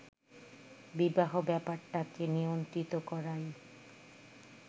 বিবাহ ব্যাপারটাকে নিয়ন্ত্রিত করাই